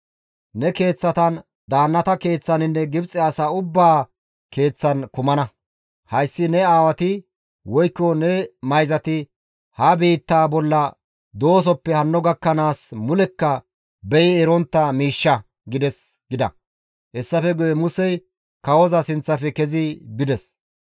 Ne keeththatan, daannata keeththaninne Gibxe asa ubbaa keeththan kumana; hayssi ne aawati, woykko ne mayzati ha biittaa bolla doosoppe hanno gakkanaas mulekka beyi erontta miishsha› gides» gida. Hessafe guye Musey kawoza sinththafe kezi bides.